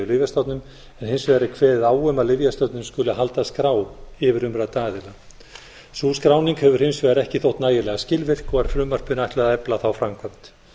lyfjastofnun en hins vegar er kveðið á um að lyfjastofnun skuli halda skrá yfir umrædda aðila sú skráning hefur hins vegar ekki þótt nægilega skilvirk og er frumvarpinu ætlað að efla þá framkvæmd